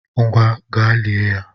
Ngwa! gaa lié ya!